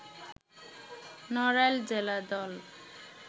নড়াইল জেলা দল